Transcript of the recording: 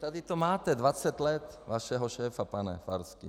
Tady to máte, 20 let vašeho šéfa, pane Farský.